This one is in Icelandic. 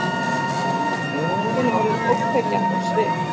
Er allt í einu orðin ógnvekjandi á svip.